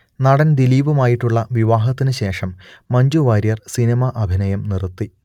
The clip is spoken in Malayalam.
നടൻ ദിലീപുമായിട്ടുള്ള വിവാഹത്തിനു ശേഷം മഞ്ജു വാര്യർ സിനിമ അഭിനയം നിർത്തി